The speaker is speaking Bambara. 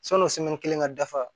Sɔn'o kelen ka dafa